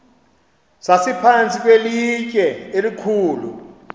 sasiphantsi kwelitye elikhulu